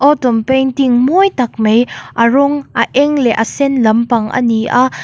autumn painting mawi tak mai a rawng a eng leh a sen lampang a ni a.